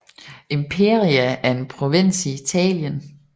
Imperia er en provins i Italien